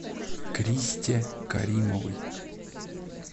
кристе каримовой